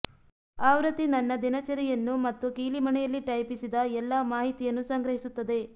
ಆವೃತ್ತಿ ನನ್ನ ದಿನಚರಿಯನ್ನು ಮತ್ತು ಕೀಲಿಮಣೆಯಲ್ಲಿ ಟೈಪಿಸಿದ ಎಲ್ಲಾ ಮಾಹಿತಿಯನ್ನು ಸಂಗ್ರಹಿಸುತ್ತದೆ